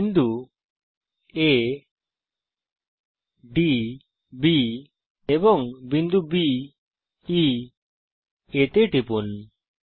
বিন্দু আ ডি B এবং বি ই A তে টিপুন